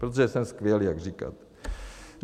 Protože jsem skvělý, jak říkáte.